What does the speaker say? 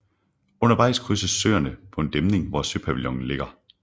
Undervejs krydses Søerne på en dæmning hvor Søpavillonen ligger